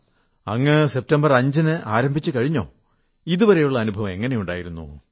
ആഹാ അങ്ങ് സെപ്റ്റംബർ 5 ന് ആരംഭിച്ചുകഴിഞ്ഞോ ഇതുവരെയുള്ള അനുഭവം എങ്ങനെയുണ്ട്